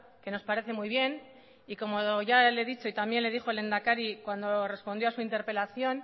que nos parece muy bien y como ya le he dicho y también le dijo el lehendakari cuando respondió a su interpelación